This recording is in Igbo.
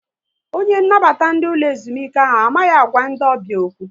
Onye nnabata ndị ụlọ ezumike ahụ amaghị agwa ndị ọbịa okwu